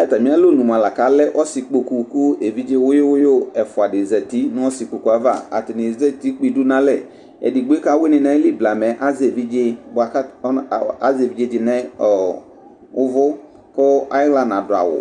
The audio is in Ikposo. Atami alɔnʋ mʋa alɛ ɔsi kpokʋ kʋ evidze wʋyu wʋyu ɛfʋa dibi zati nʋ ɔsikpokʋ yɛ ava atani ezati kpe idʋ nʋ alɛ edigbo kʋ awini nʋ ayili blamɛ azɛ evidze nʋ ʋvʋ kʋ ayixla nadʋ awʋ